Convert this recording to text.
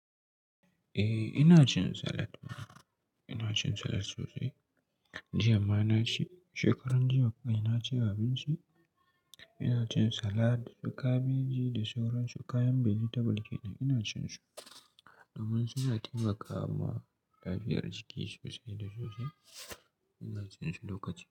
Eh ina cin salad. Ina cin salad sosai. Jiya ma na ci, shekaran jiya kawai naci abinci. Ina cin salad, da kabeji da sauransu kayan vegetable kenan ina cin su domin suna taimakawa lafiyar jiki sosai da sosai. Ina cin su lokaci.